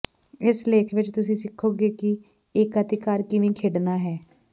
ਇਸ ਲੇਖ ਵਿਚ ਤੁਸੀਂ ਸਿੱਖੋਗੇ ਕਿ ਏਕਾਧਿਕਾਰ ਕਿਵੇਂ ਖੇਡਣਾ ਹੈ